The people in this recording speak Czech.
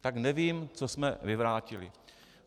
Tak nevím, co jsme vyvrátili.